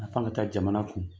Nafa ka taa jamana kun.